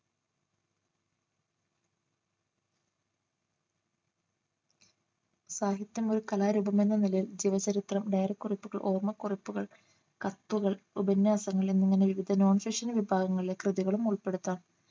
സാഹിത്യം ഒരു കലാരൂപം എന്ന നിലയിൽ ജീവചരിത്രം ഡയറിക്കുറിപ്പുകൾ ഓർമ്മക്കുറിപ്പുകൾ കത്തുകൾ ഉപന്യാസങ്ങൾ എന്നിങ്ങനെ വിവിധ non fictional വിഭാഗങ്ങളിലെ കൃതികളും ഉൾപ്പെടുത്താം